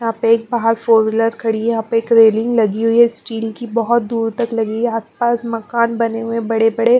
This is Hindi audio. यहाँ पे एक बाहर फोर विलर खड़ी है यहाँ पे एक रेलिंग लगी हुई है स्टील की बहुत दूर तक लगी है आसपास मकान बने हुए हैं बड़े-बड़े--